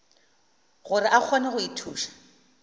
gore a kgone go ithuša